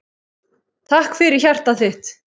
Takk fyrir hjartað þitt.